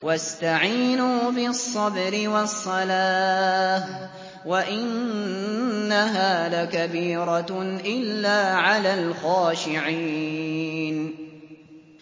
وَاسْتَعِينُوا بِالصَّبْرِ وَالصَّلَاةِ ۚ وَإِنَّهَا لَكَبِيرَةٌ إِلَّا عَلَى الْخَاشِعِينَ